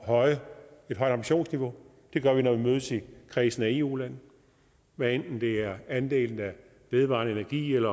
højt ambitionsniveau det gør vi når vi mødes i kredsen af eu lande hvad enten det er andelen af vedvarende energi